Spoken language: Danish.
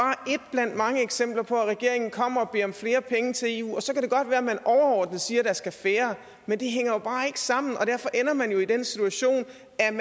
blandt mange eksempler på at regeringen kommer og beder om flere penge til eu og så kan det godt være at man overordnet siger at der skal færre men det hænger jo bare ikke sammen og derfor ender man jo i den situation